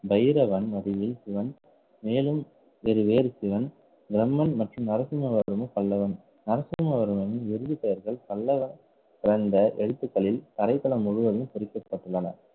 பைரவன் சிவன் மேலும் பெரு வேறு சிவன் தர்மன் மற்றும் நரசிம்ம வர்ம பல்லவன் நரசிம்ம வர்மன் எருது பெயர்கள் பல்லவ பிறந்த எழுத்துக்களில் தரை தலம் முழுவதும் குறிப்பிடப்பட்டுள்ளன.